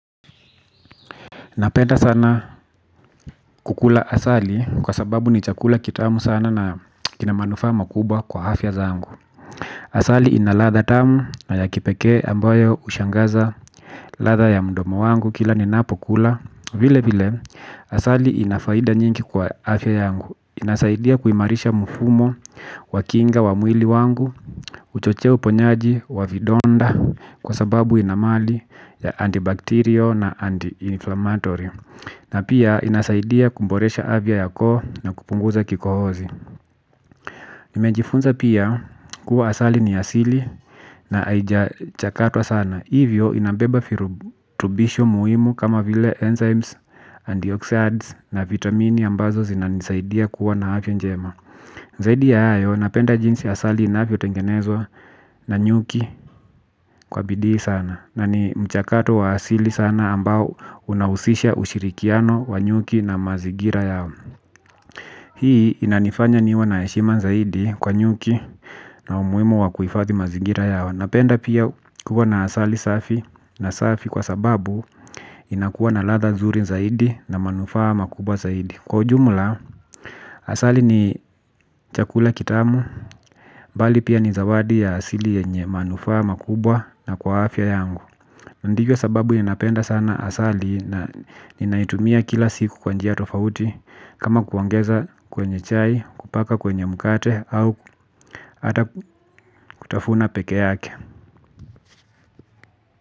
Napenda sana kukula asali kwa sababu ni chakula kitamu sana na kinamanufa makubwa kwa hafya zangu. Asali inalatha tamu na ya kipeke ambayo ushangaza latha ya mdomo wangu kila ninapo kula. Vile vile asali inafaida nyingi kwa hafya yangu. Inasaidia kuimarisha mfumo wa kinga wa mwili wangu. Uchochea uponyaji wa vidonda kwa sababu inamali ya antibacterio na anti-inflammatory. Na pia inasaidia kumboresha avya ya koo na kupunguza kikohozi nimejifunza pia kuwa asali ni asili na aijachakatwa sana. Hivyo inambeba furutubisho muhimu kama vile enzymes, antioxidants na vitamini ambazo zinanisaidia kuwa na avya njema zaidi ya hayo napenda jinsi asali ina avyo tengenezwa na nyuki kwa bidii sana. Na ni mchakato wa asili sana ambao unawusisha ushirikiano wa nyuki na mazigira yao. Hii inanifanya niwe naeshima zaidi kwa nyuki na umuwimu wa kuifathi mazigira yao. Napenda pia kuwa na asali safi na safi kwa sababu inakuwa na latha zuri zaidi na manufa makubwa zaidi. Kwa jumla asali ni chakula kitamu bali pia ni zawadi ya asili yenye manufa makubwa na kwa afya yangu. Ndivyo sababu ninapenda sana asali na ninaitumia kila siku kwanjia tofauti kama kuongeza kwenye chai kupaka kwenye mukate au ata kutafuna peke yake.